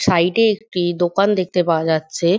Side -এ একটি দোকান দেখতে পাওয়া যাচ্ছে।